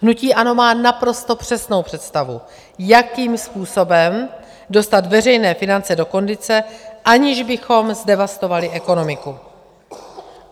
Hnutí ANO má naprosto přesnou představu, jakým způsobem dostat veřejné finance do kondice, aniž bychom zdevastovali ekonomiku.